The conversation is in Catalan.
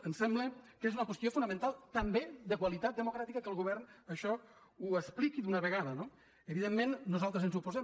em sembla que és una qüestió fonamental també de qualitat democràtica que el govern això ho expliqui d’una vegada no evidentment nosaltres ens hi oposem